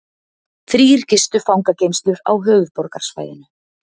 Þrír gistu fangageymslur á höfuðborgarsvæðinu